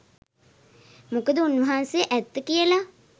මොකද උන්වහන්සේ ඇත්ත කියලා